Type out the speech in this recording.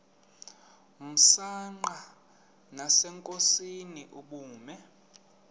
msanqa nasenkosini ubume